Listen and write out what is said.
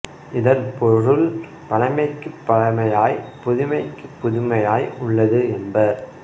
இதன் பொருள் பழமைக்குப் பழமையாய்ப் புதுமைக்குப் புதுமையாய் உள்ளது என்பர்